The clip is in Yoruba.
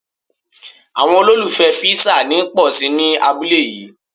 Àwọn olùfẹ Písà ń pòsi ní abúlé yí.